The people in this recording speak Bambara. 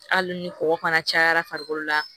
Hali ni kɔkɔ fana cayara farikolo la